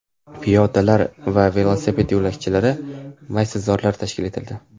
Piyodalar va velosiped yo‘lakchalari, maysazorlar tashkil etildi.